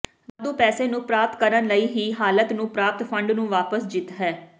ਵਾਧੂ ਪੈਸੇ ਨੂੰ ਪ੍ਰਾਪਤ ਕਰਨ ਲਈ ਹੀ ਹਾਲਤ ਨੂੰ ਪ੍ਰਾਪਤ ਫੰਡ ਨੂੰ ਵਾਪਸ ਜਿੱਤ ਹੈ